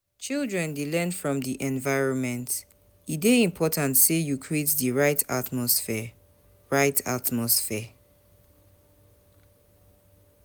Children dey learn from di environment, e dey important sey you create di right atmosphere. right atmosphere.